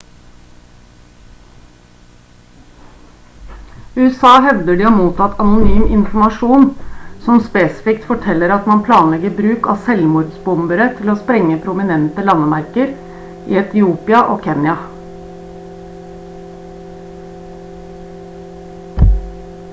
usa hevder de har mottatt anonym informasjon som spesifikt forteller at man planlegger bruk av selvmordsbombere til å sprenge «prominente landemerker» i etiopia og kenya